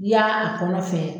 Ya a kɔnɔ fɛ